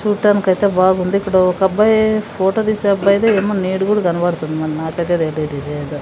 చూట్టానికైతే బాగుంది ఇక్కడ ఒక అబ్బాయి ఫోటో తీసే అబ్బాయిది ఏమో నీడ గూడ కనబడతుంది మరి నాకైతే తెలీదు ఇదేందో.